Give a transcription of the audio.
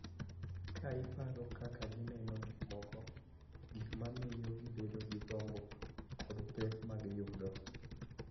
Ka iparo kaka gineno gik moko, gik ma miyo gibedo gi gombo, kod pek ma giyudo.